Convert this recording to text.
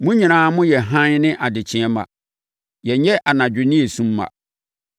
Mo nyinaa moyɛ hann ne adekyeeɛ mma. Yɛnyɛ anadwo ne sum mma.